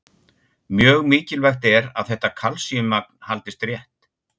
Mjög mikilvægt er að þetta kalsíummagn haldist rétt.